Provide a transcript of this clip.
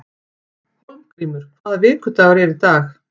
Hólmgrímur, hvaða vikudagur er í dag?